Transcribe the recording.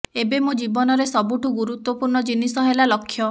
ଏବେ ମୋ ଜୀବନରେ ସବୁଠୁ ଗୁରୁତ୍ୱପୂର୍ଣ୍ଣ ଜିନିଷ ହେଲା ଲକ୍ଷ୍ୟ